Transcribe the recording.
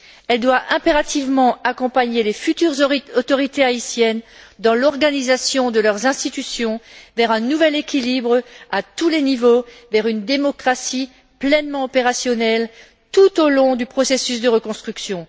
Elle doit impérativement accompagner les futures autorités haïtiennes dans l'organisation de leurs institutions vers un nouvel équilibre à tous les niveaux, vers une démocratie pleinement opérationnelle tout au long du processus de reconstruction.